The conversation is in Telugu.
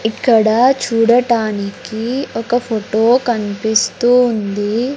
ఇక్కడ చూడటానికి ఒక ఫోటో కనిపిస్తూ ఉంది.